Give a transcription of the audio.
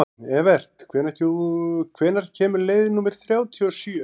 Evert, hvenær kemur leið númer þrjátíu og sjö?